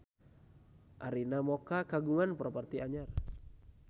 Arina Mocca kagungan properti anyar